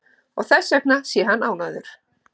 Og þessvegna sé hann ánægður